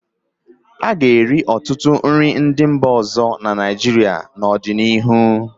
A ga-eri ọtụtụ nri ndị mba ọzọ na Naịjirịa n'ọdịnihu.